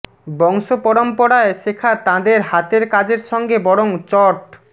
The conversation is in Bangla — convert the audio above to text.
বংশ পরম্পরায় শেখা তাঁদের হাতের কাজের সঙ্গে বরং চট